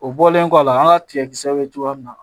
O bɔlen kɔ a la an ka tigɛ kisɛ bɛ cogoya min na